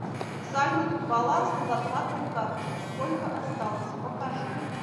салют баланс на зарплатной карте сколько осталось покажи